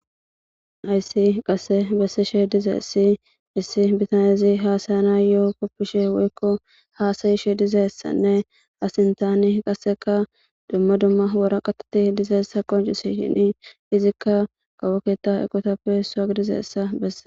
ayssi qasse bessishe dize issi issi bitanezi haasayana yo7o koppishe woykko haasayishe dizeessanne asintaani qasseka dumma dumma wora qateti dizeessa qoncisishini izikka kawoketa ekotappe soag dizeessa bessa